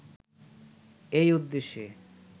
এই উদ্দেশ্যে